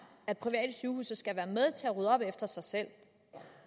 at private sygehuse skal være med til at rydde op efter sig selv